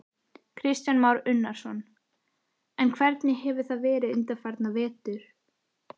Kristján Már Unnarsson: En hvernig hefur það verið undanfarna vetur?